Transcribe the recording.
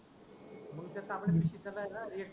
मंग ते तांबडया पिशवीत कसा आहे ना वेस्ट